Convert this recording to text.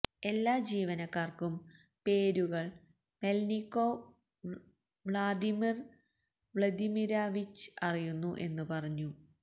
എല്ലാ ജീവനക്കാർക്കും പേരുകൾ മെല്നികൊവ് വ്ളാദിമിർ വ്ലദിമിരൊവിഛ് അറിയുന്നു എന്ന് പറഞ്ഞു